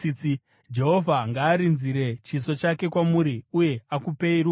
Jehovha ngaarinzire chiso chake kwamuri uye akupei rugare.’ ”